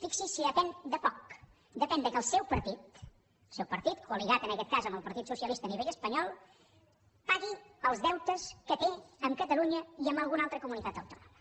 fixi’s si depèn de poc depèn del fet que el seu partit el seu partit coaliat en aquest cas amb el partit socialista a nivell espanyol pagui els deutes que té amb catalunya i amb alguna altra comunitat autònoma